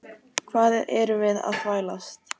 Hvað erum við að þvælast?